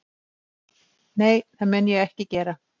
Nei, það mun ég ekki gera